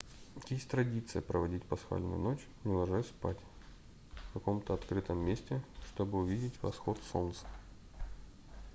есть традиция проводить пасхальную ночь не ложась спать в каком-то открытом месте чтобы увидеть восход солнца